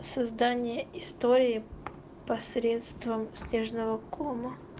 создание истории посредством снежного кома